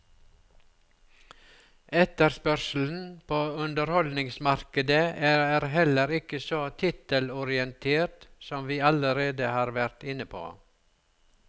Etterspørselen på underholdningsmarkedet er heller ikke så tittelorientert, som vi allerede har vært inne på.